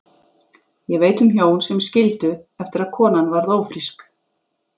Ég veit um hjón sem skildu eftir að konan varð ófrísk.